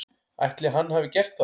Ætli hann hafi gert það?